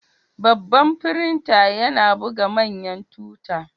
Babban firinta yana buga manyan tuta.